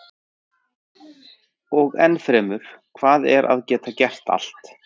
Og enn fremur, hvað er að geta gert allt?